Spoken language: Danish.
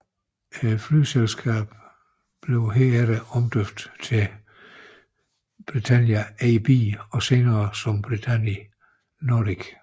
Flyselskabet blev her efter omdøbt til Britannia AB og senere som Britannia Nordic